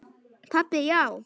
Pabbi, já!